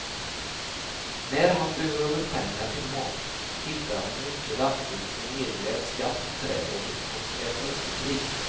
När han behöver pengar till mat hittar han mycket lämpligt en nedgrävd skatt i trädgården och är plötsligt rik.